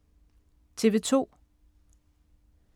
TV 2